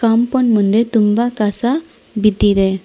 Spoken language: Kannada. ಕಾಂಪೌಂಡ್ ಮುಂದೆ ತುಂಬಾ ಕಸ ಬಿದ್ದಿದೆ.